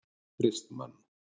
Kristmann